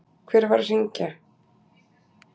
Hver var að hringja?